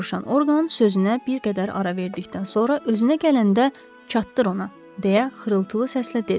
Soruşan Orqan sözünə bir qədər ara verdikdən sonra özünə gələndə çatdır ona deyə xırıltılı səslə dedi.